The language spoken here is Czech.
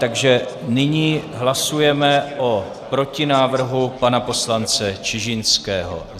Takže nyní hlasujeme o protinávrhu pana poslance Čižinského.